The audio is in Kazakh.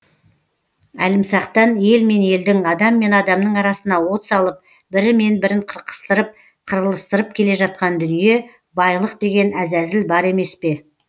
әлімсақтан ел мен елдің адам мен адамның арасына от салып бірі мен бірін қырқыстырып қырылыстырып келе жатқан дүние байлық деген әзәзіл бар емес пе